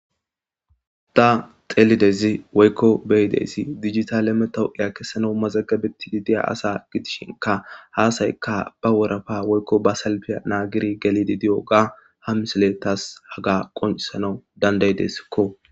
Ta xelidayizi woyikko be'izayis dijjitale metawoqqiya kesanas mazzagabetishe dizza asa giddishinkka ha asayikka ba worroppa woyikko ba salppya naggidi gellidi diyoga tasi ha missileyi tasi hagga qonccisanaw danda'idesikko.